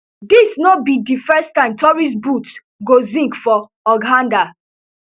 dis no be di first time tourist boots go sink for hurghanda